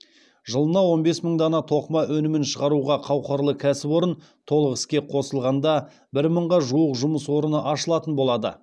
жылына он бес мың дана тоқыма өнімін шығаруға қауқарлы кәсіпорын толық іске қосылғанда бір мыңға жуық жұмыс орны ашылатын болады